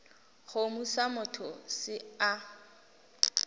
kgomo sa motho se a